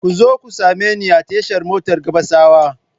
Ku zo ku same ni a tashar motar Gabasawa!